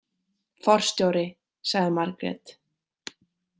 Forstjóri, sagði Margrét.